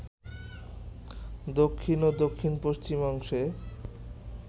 দক্ষিণ ও দক্ষিণ পশ্চিম অংশে